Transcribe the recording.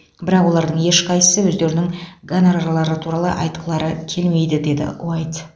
бірақ олардың ешқайсысы өздерінің гонорарлары туралы айтқылары келмейді деді уайт